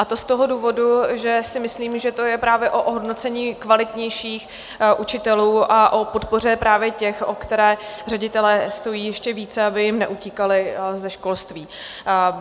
A to z toho důvodu, že si myslím, že to je právě o ohodnocení kvalitnějších učitelů a o podpoře právě těch, o které ředitelé stojí ještě více, aby jim neutíkali ze školství.